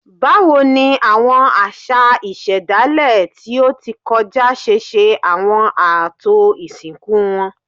Báwo ni àwọn àṣà ìṣẹ̀dálẹ̀ tí ó ti kọjá ṣe ṣe àwọn ààtò ìsìnkú wọn?